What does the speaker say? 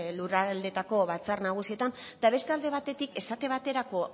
lurraldeetako batzar nagusietan eta beste alde batetik esate baterako